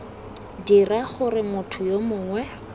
dira gore motho yo mongwe